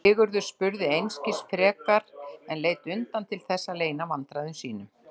Sigurður spurði einskis frekar en leit undan til þess að leyna vandræðum sínum.